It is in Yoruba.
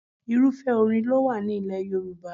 Irúfẹ́ orin ló wà ní ilẹ̀ Yorùbá.